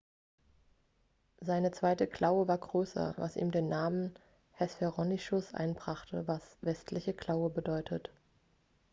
seine zweite klaue war größer was ihm den namen hesperonychus einbrachte was westliche klaue bedeutet